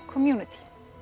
community